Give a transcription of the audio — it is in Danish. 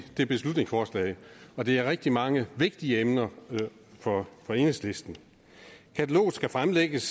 i beslutningsforslaget og det er rigtig mange vigtige emner for enhedslisten kataloget skal fremlægges